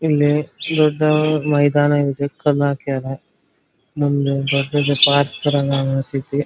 ಇಲ್ಲಿ ದೊಡ್ಡ ಮೈದಾನ ಇದೆ ಕಲ್ಲ ಹಾಕ್ಯಾರ ಮುಂದ ದೊಡ್ಡದ ಪರ್ಕತರ --